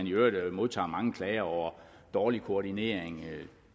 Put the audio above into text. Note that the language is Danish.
i øvrigt modtager mange klager over dårlig koordinering